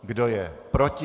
Kdo je proti?